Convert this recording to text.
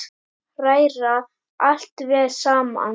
Hræra allt vel saman.